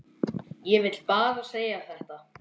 Ég vil bara segja þetta.